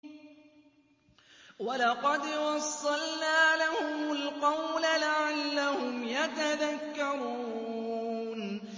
۞ وَلَقَدْ وَصَّلْنَا لَهُمُ الْقَوْلَ لَعَلَّهُمْ يَتَذَكَّرُونَ